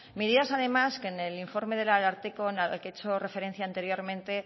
medidas además que en el informe del ararteko al que he hecho referencia anteriormente